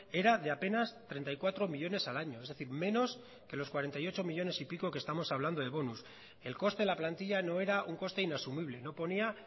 era de apenas treinta y cuatro millónes al año es decir menos que los cuarenta y ocho millónes y pico que estamos hablando de bonos el coste de la plantilla no era un coste inasumible no ponía